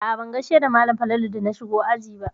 A'a ban gaishe da malam Falalu da na shigo aji ba.